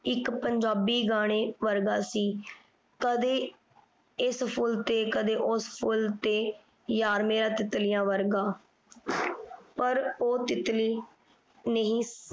ਇਕ ਪੰਜਾਬੀ ਗਾਣੇ ਵਰਗਾ ਸੀ ਕਦੇ ਇਸ ਫੁੱਲ ਤੇ ਕਦੇ ਉਸ ਫੁੱਲ ਤੇ ਯਾਰ ਮੇਰਾ ਤਿੱਤਲੀਆਂ ਵਰਗਾ ਪਰ ਉਹ ਤਿੱਤਲੀ ਨਹੀਂ